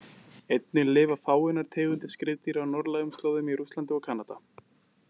Einnig lifa fáeinar tegundir skriðdýra á norðlægum slóðum í Rússlandi og Kanada.